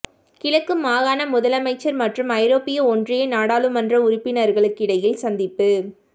கிழக்கு மாகாண முதலமைச்சர் மற்றும் ஐரோப்பிய ஒன்றிய நாடாளுமன்ற உறுப்பினர்களுக்கிடையில் சந்திப்பு